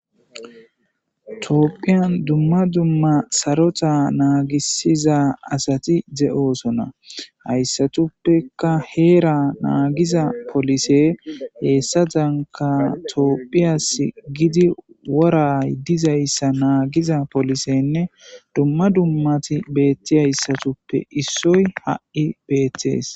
Toopphiyan dumma dumma sarota naagisiza asati de'oosona hayssatuppeka heera naagiza polise heessadanika toopphiyas gidi woray dizayssa naagiza polisenne dumma dummati beetti hayssatuppe issoy ha'i beettees.